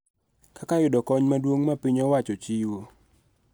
Kaka yudo kony maduong� ma piny owacho chiwo.